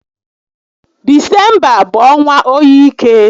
Disemba bụ ọnwa óyi ike